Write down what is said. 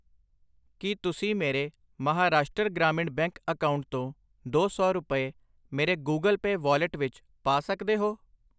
ਕਿ ਤੁਸੀਂ ਮੇਰੇ ਮਹਾਰਾਸ਼ਟਰ ਗ੍ਰਾਮੀਣ ਬੈਂਕ ਅਕਾਊਂਟ ਤੋਂ ਦੋ ਸੌ ਰੁਪਏ ਮੇਰੇ ਗੁਗਲ ਪੈ ਵਾਲਿਟ ਵਿੱਚ ਪਾ ਸਕਦੇ ਹੋ ?